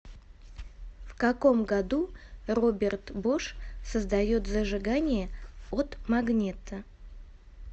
в каком году роберт бош создает зажигание от магнето